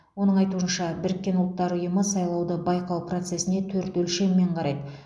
оның айтуынша біріккен ұлттар ұйымы сайлауды байқау процесіне төрт өлшеммен қарайды